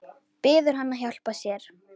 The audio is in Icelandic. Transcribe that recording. Biður hann að hjálpa sér.